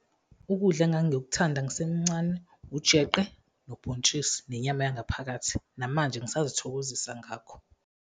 Ukudla engangikuthanda ngisemncane, ujeqe nobhontshisi nenyama yangaphakathi, namanje ngisazithokozisa ngakho.